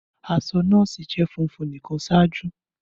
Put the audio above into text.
Aṣọ nọọsi jẹ funfun nikan ṣaaju.